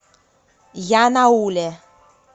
янауле